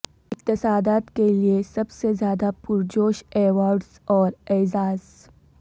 اقتصادیات کے لئے سب سے زیادہ پرجوش ایوارڈز اور اعزاز